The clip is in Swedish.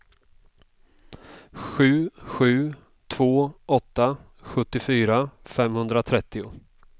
sju sju två åtta sjuttiofyra femhundratrettio